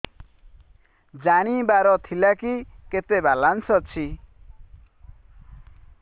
ଜାଣିବାର ଥିଲା କି କେତେ ବାଲାନ୍ସ ଅଛି